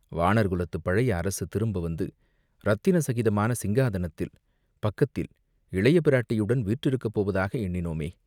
வாணர் குலத்துப் பழைய அரசு திரும்ப வந்து, இரத்தின சகிதமான சிங்காதனத்தில் பக்கத்தில் இளைய பிராட்டியுடன் வீற்றிருக்கப் போவதாக எண்ணினோமே?